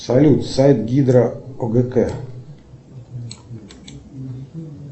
салют сайт гидроогк